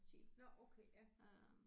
Nåh okay ja